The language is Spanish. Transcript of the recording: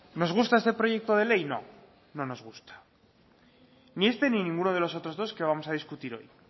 nos gusta este proyecto de ley no no nos gusta ni este ni ninguno de los otros dos que vamos a discutir hoy